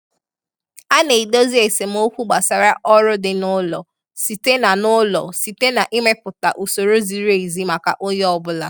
A na-edozi esemokwu gbasara ọrụ di n'ụlọ site na n'ụlọ site na ịmepụta usoro ziri ezi maka onye ọbụla.